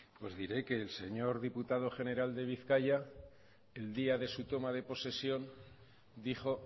diré que el señor diputado general de bizkaia el día de su toma de posesión dijo